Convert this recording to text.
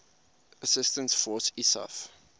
assistance force isaf